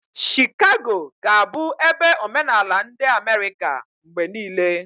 Shikago ga-abụ ebe omenala ndi Amerika mgbe niile.